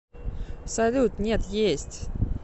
салют нет есть